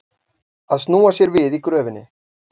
Að snúa sér við í gröfinni